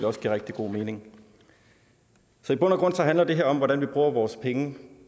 også giver rigtig god mening så i bund og grund handler det her om hvordan vi bruger vores penge